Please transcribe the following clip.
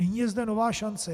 Nyní je zde nová šance.